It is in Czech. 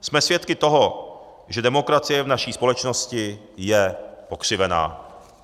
Jsme svědky toho, že demokracie v naší společnosti je pokřivená.